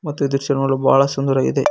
ಮತ್ತು ದೃಶ್ಯ ನೋಡಲು ಬಹಳ ಸುಂದರವಾಗಿದೆ.